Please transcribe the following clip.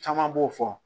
Caman b'o fɔ